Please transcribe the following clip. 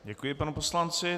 Děkuji panu poslanci.